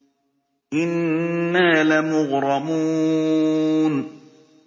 إِنَّا لَمُغْرَمُونَ